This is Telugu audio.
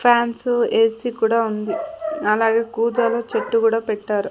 ఫ్యాన్సు ఏసి కూడా ఉంది అలాగే కూజాలో చెట్టు కూడా పెట్టారు.